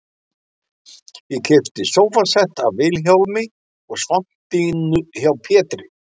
Ég keypti sófasett af Vilhjálmi og svampdýnu hjá Pétri